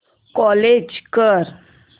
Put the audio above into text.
close कर